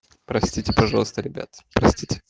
простите пожалуйста ребята простите